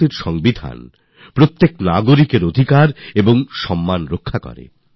ভারতের সংবিধান এমনই যা প্রত্যেক নাগরিকের অধিকারগুলি আস সম্মান রক্ষা করে